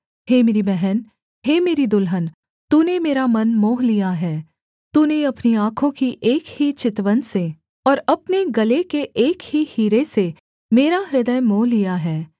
हे मेरी बहन हे मेरी दुल्हन तूने मेरा मन मोह लिया है तूने अपनी आँखों की एक ही चितवन से और अपने गले के एक ही हीरे से मेरा हृदय मोह लिया है